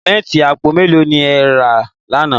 Símẹ́ǹtì àpò mẹ́lò ni e ẹ̀ rà láńà?